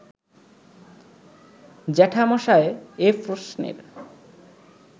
জ্যাঠামশায় এ প্রশ্নের